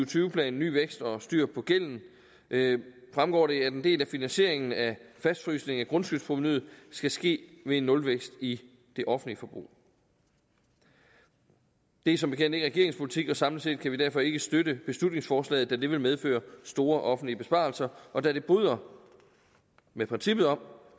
tyve plan ny vækst og styr på gælden fremgår det at en del af finansieringen af fastfrysning af grundskyldsprovenuet skal ske ved en nulvækst i det offentlige forbrug det er som bekendt ikke regeringens politik samlet set kan vi derfor ikke støtte beslutningsforslaget da det vil medføre store offentlige besparelser og da det bryder med princippet om